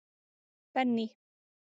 Benný